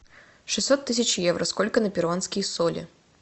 шестьсот тысяч евро сколько на перуанские соли